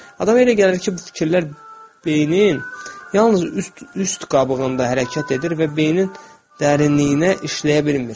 Adam elə gəlir ki, bu fikirlər beynin yalnız üst qabığında hərəkət edir və beynin dərinliyinə işləyə bilmir.